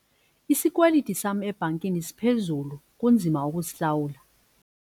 Isikweliti sam ebhankini siphezulu kunzima ukusihlawula.